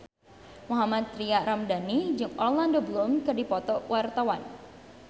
Mohammad Tria Ramadhani jeung Orlando Bloom keur dipoto ku wartawan